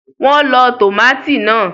Wọ́n lọ tòmátì náà